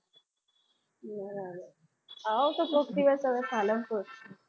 આવો તો કોઈક દિવસ હવે પાલનપુર.